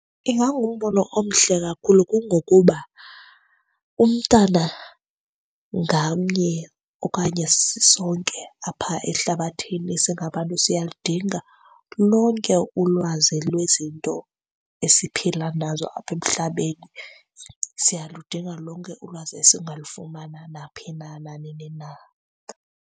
Ingangumbono omhle kakhulu kungokuba umntana ngamnye okanye sisonke apha ehlabathini singabantu, siyaludinga lonke ulwazi lwezinto esiphila nazo apha emhlabeni. Siyaludinga lonke ulwazi esingalufumana naphi na, nanini na.